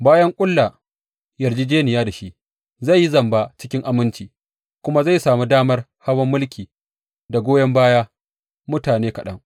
Bayan ƙulla yarjejjeniya da shi, zai yi zamba cikin aminci, kuma zai sami damar hawan mulki da goyon baya mutane kaɗan.